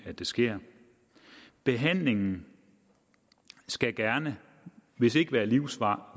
at det sker behandlingen skal gerne hvis ikke være livslang